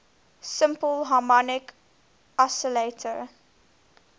simple harmonic oscillator